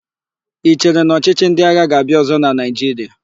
I chere na ọchịchị ndị agha ga-abịa ọ̀zọ́ na Naịjiria?